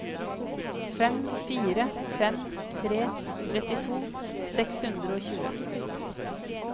fem fire fem tre trettito seks hundre og tjue